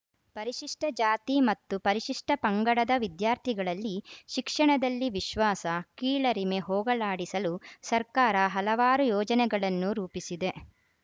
ಪರಿಶಿಷ್ಟಜಾತಿ ಮತ್ತು ಪರಿಶಿಷ್ಟಪಂಗಡದ ವಿದ್ಯಾರ್ಥಿಗಳಲ್ಲಿ ಶಿಕ್ಷಣದಲ್ಲಿ ವಿಶ್ವಾಸ ಕೀಳರಿಮೆ ಹೋಗಲಾಡಿಸಲು ಸರ್ಕಾರ ಹಲವಾರು ಯೋಜನೆಗಳನ್ನು ರೂಪಿಸಿದೆ